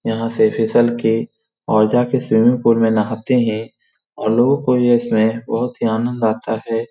और यहाँ से फिसल के और जाके स्विमिंग पूल में नहाते हैं और लोगो को इसमें बहुत ही आनंद आता है।